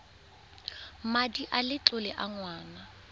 madi a letlole a ngwana